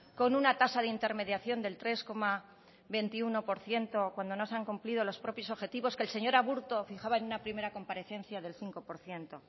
con una tasa de intermediación del tres coma veintiuno por ciento cuando no se han cumplido los propios objetivos que el señor aburto fijaba en una primera comparecencia del cinco por ciento